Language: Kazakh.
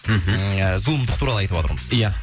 мхм ыыы зұлымдық туралы айтыватырмыз ия